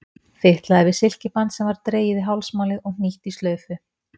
Fitlaði við silkiband sem var dregið í hálsmálið og hnýtt í slaufu.